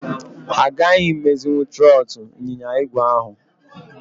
Ha aghaghị imezinwu trọọtụ ịnyịnya igwe ahụ.